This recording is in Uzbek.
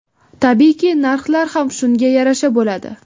Tabiiyki, narxlar ham shunga yarasha bo‘ladi.